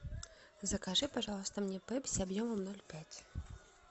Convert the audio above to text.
закажи пожалуйста мне пепси объемом ноль пять